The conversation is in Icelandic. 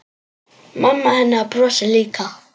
Mamma hennar brosir líka.